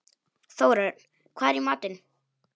Þórörn, hvað er í matinn?